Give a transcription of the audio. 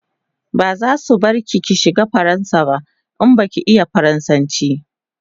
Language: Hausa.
Bazasu bar ki ki shiga faransa ba in baki iya faransanchi